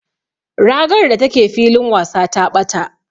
Ragar da take filin wasa ta ɓata.